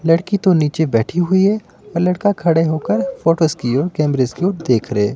लड़की तो नीचे बैठी हुई है और लड़का खड़े हो कर फोटोस की ओर कैमरेस की ओर देख रहे।